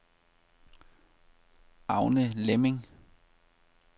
Agner Lemming